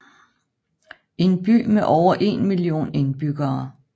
En by med over en million indbyggere